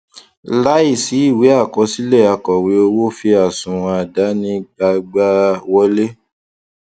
láìsí ìwé àkọsílẹ akòwé owó fi àsunwon àdáni gbagba wòlé